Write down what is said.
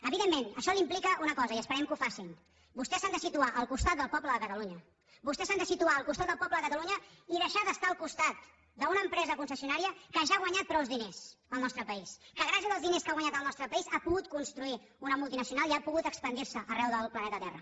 evidentment això implica una cosa i esperem que la facin vostès s’han de situar al costat del poble de cata lunya vostès s’han de situar al costat del poble de catalunya i deixar d’estar al costat d’una empresa concessionària que ja ha guanyat prou diners al nostre país que gràcies als diners que ha guanyat al nostre país ha pogut construir una multinacional i ha pogut expandir se arreu del planeta terra